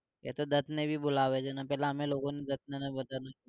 એતો દત્તને બી બોલાવે છે ને પહેલા અમે લોકોને દત્તને બધાને